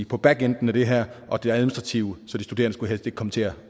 på backend af det her og det administrative så de studerende ikke komme til at